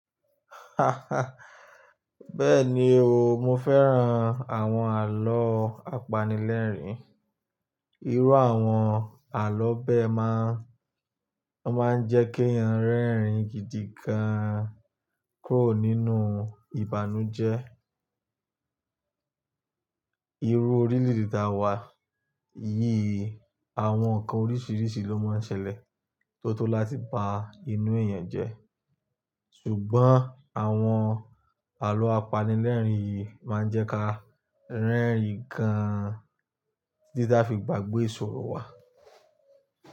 Bẹ́ẹ̀ni o, mo fẹ́ran àwọn àloo apanilẹ́rìn-ín. Irú àwọn àlọ́ bẹ́ máa ń jẹ́ kí ẹyàn rẹ́rìn-ín gidigan, kúrò nínú ìbànújẹ́. Irú orílẹ̀-èdè ta wà yìí, àwọn nǹkan oríṣiríṣi ló máa ń ṣẹlẹ̀ tó tó láti ba inú èèyàn jẹ́. Ṣùgbọ́n, àwọn àlọ́ apanilẹ́rìn-ín yìí máa ń jẹ́ ka rẹ́rìn-ín gan, títi ta fi gbàgbé ìṣòro wa.